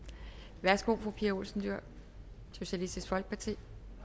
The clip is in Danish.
værsgo fru pia olsen dyhr socialistisk folkeparti